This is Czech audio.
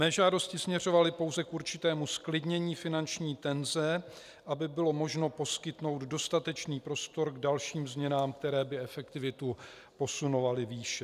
Mé žádosti směřovaly pouze k určitému zklidnění finanční tenze, aby bylo možno poskytnout dostatečný prostor k dalším změnám, které by efektivitu posunovaly výše.